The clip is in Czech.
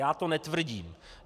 Já to netvrdím.